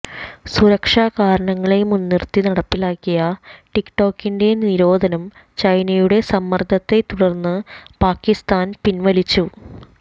സുരക്ഷാ കാരണങ്ങളെ മുന്നിര്ത്തി നടപ്പാക്കിയ ടിക് ടോകിന്റെ നിരോധനം ചൈനയുടെ സമ്മര്ദ്ദത്തെ തുടര്ന്ന് പാകിസ്താന് പിന്വലിച്ചു